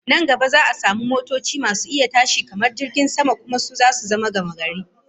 Nan gaba za'a samu motoci masu iya tashi kamar jirgin sama, kuma su zama gamagari